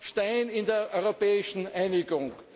Stein in der europäischen Einigung.